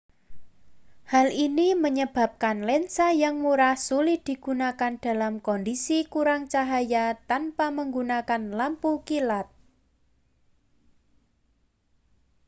hal ini menyebabkan lensa yang murah sulit digunakan dalam kondisi kurang cahaya tanpa menggunakan lampu kilat